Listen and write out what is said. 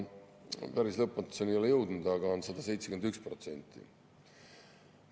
Päris lõpmatuseni ei ole jõudnud, aga on 171%.